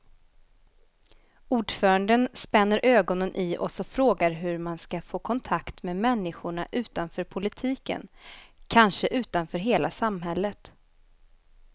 Ordföranden spänner ögonen i oss och frågar hur man ska få kontakt med människorna utanför politiken, kanske utanför hela samhället.